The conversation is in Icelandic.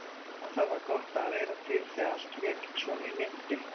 Hvað það var gott að vera til þegar allt lék svona í lyndi.